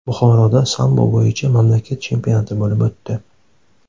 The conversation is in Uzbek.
Buxoroda sambo bo‘yicha mamlakat chempionati bo‘lib o‘tdi.